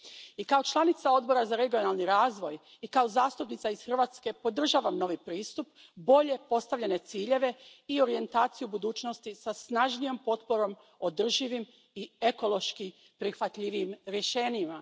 I kao članica Odbora za regionalni razvoj i kao zastupnica iz Hrvatske podržavam novi pristup, bolje postavljene ciljeve i orijentaciju budućnosti sa snažnijom potporom održivim i ekološki prihvatljivim rješenjima.